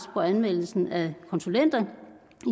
på anmeldelsen af konsulenter